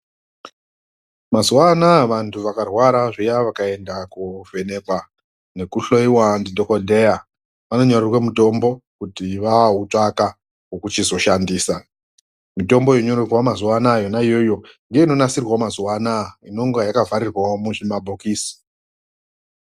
Mazuva anaya vantu vakarwara zviya vakaenda kovhenekwa nekuhoiwa ndidhogodheya vanonyorerwa mutombo kuti vautsvaka vokuchizo shandisa. Mitombo inonyorerwa mazuva anaya yoiyoyo nginonasirwavo mazuva anaya inenga yakavharirwavo muzvimabhokisi.